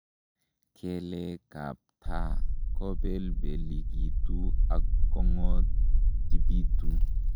Kelekab taa kobelbelikitu ak "kong'otipitu ".